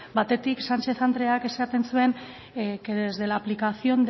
batetik sánchez andreak esaten zuen que desde la aplicación